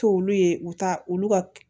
To olu ye u ta olu ka